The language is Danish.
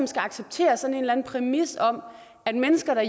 skal acceptere sådan en eller anden præmis om at mennesker